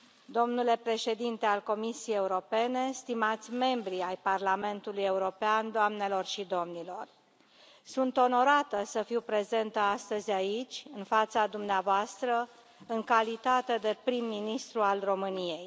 domnule președinte al Comisiei Europene, stimați membri ai Parlamentului European, doamnelor și domnilor, sunt onorată să fiu prezentă astăzi, aici, în fața dumneavoastră, în calitate de prim ministru al României.